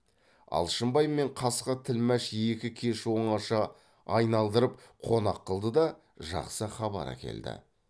алшынбай мен қасқа тілмәш екі кеш оңаша айналдырып қонақ қылды да жақсы хабар әкелді